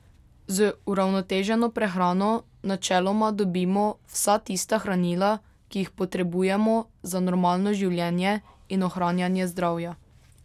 Z uravnoteženo prehrano načeloma dobimo vsa tista hranila, ki jih potrebujemo za normalno življenje in ohranjanje zdravja.